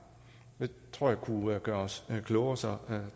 det tror jeg kunne gøre os klogere så